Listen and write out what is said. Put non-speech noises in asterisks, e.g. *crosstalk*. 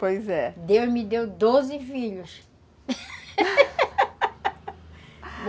Pois é. Deus me deu doze filhos *laughs*